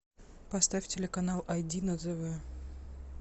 поставь телеканал айди на тв